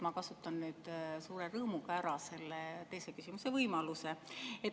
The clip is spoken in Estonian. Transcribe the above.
Ma kasutan suure rõõmuga ära selle teise küsimuse võimaluse.